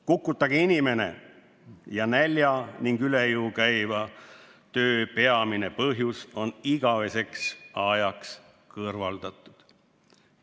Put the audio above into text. Kukutage inimene ja nälja ning üle jõu käiva töö peamine põhjus on igaveseks ajaks kõrvaldatud.